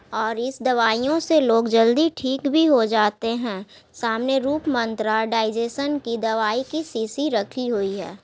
और इस दवाइयो से लोग जल्दी ठीक भी हो जाते है सामने रूप मंत्रा डाइजेशन की दवाई की शिशी रखी हुई है।